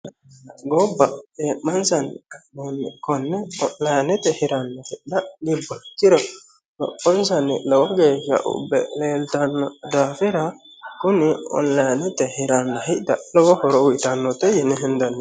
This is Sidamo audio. gobba cee'mansanni ka'nohunni konne onlinete hirannai hidha gibbanno ikkirono lophonsanni lowo geeshsha ubbe leeltanno daafira kuni onlinete hiranna hidha lowo horo uyiitannote yine hendanni.